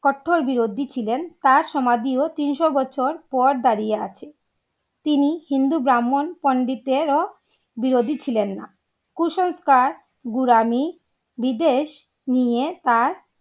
কট্টর বিরোধী ছিলেন তার সমাধিও তিনশো বছর পর দাঁড়িয়ে আছে। তিনি হিন্দু ব্রাহ্মণ পণ্ডিতের ও বিরোধী ছিলেন না কুসংস্কার ঘুরানি বিদেশ নিয়ে তার